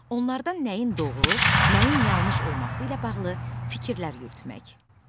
Onlardan nəyin doğru, nəyin yanlış olması ilə bağlı fikirlər yürütmək.